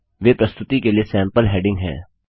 वे प्रस्तुति के लिए सैम्पल हैडिंग हैं